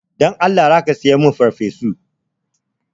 Dan Allah za ka saya min farfesu?